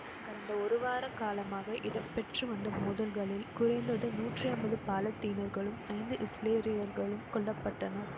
கடந்த ஒரு வார காலமாக இடம்பெற்று வந்த மோதல்களில் குறைந்தது நூற்றி அம்பது பாலத்தீனர்களும் ஐந்து இசுரேலியர்களும் கொல்ல பட்டனர்